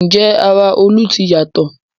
Ǹjẹ́ ara Olú ti yàtọ̀?